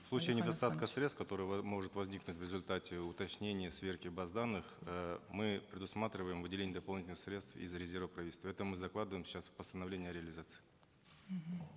в случае недостатка средств которое может возникнуть в результате уточнения сверки баз данных э мы предусматриваем выделение дополнительных средств из резерва правительства это мы закладываем сейчас в постановлении о реализации мхм